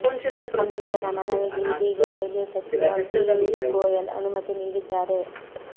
ಸಂಸದರ ಮನವಿಗೆ ಇದೀಗ ರೈಲ್ವೆ ಸಚಿವ ಪೀಯೂಶ್ ಗೋಯಲ್ ಅನುಮತಿ ನೀಡಿದ್ದಾರೆ